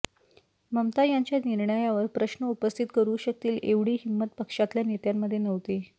ममता यांच्या निर्णयावर प्रश्न उपस्थित करू शकतील एवढी हिंमत पक्षातल्या नेत्यांमध्ये नव्हती